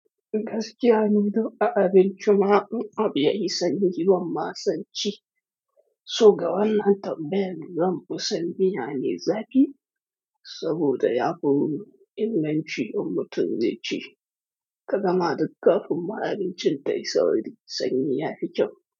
Gaskiya ni, duk a abinci ma, in abu yayi sanyi, ban ma sonci. So ga wannan tambayar, zan ƙusa miya ne zafi, saboda ya fi wuri in nan ci in mutum zai ci, ka gama duka abin ma abincin ta yi sauki sanyi ya fi kyau.